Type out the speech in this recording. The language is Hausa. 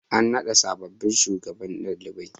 An naɗa sabobbin shugabannin ɗalibai.